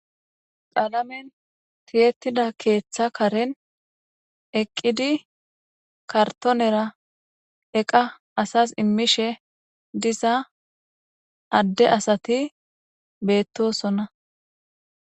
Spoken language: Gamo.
Qaalamen tiyettida keeththa karen eqqidi kartonera eqqa asas immishe diza adde asati beettosona.